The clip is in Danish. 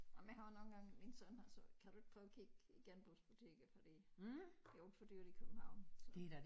Men jeg har jo nogle gange min søn har sagt kan du ikke prøve at kigge i genbrugsbutikker fordi det jo alt for dyrt i København så